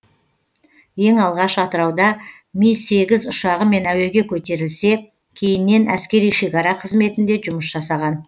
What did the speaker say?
ең алғаш атырауда ми сегіз ұшағымен әуеге көтерілсе кейіннен әскери шекара қызметінде жұмыс жасаған